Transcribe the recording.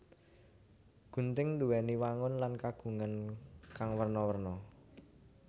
Gunting nduwèni wangun lan kagunan kang werna werna